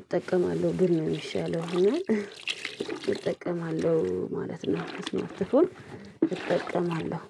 እጠቀማለሁ ብል ነው የሚሻለው እና እጠቀማለሁ ማለት ነው እስማርት ፎን እጠቀማለሁ